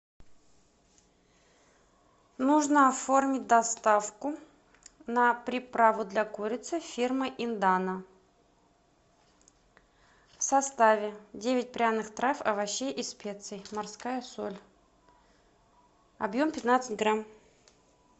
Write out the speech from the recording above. нужно оформить доставку на приправу для курицы фирмы индана в составе девять пряных трав овощей и специй морская соль объем пятнадцать грамм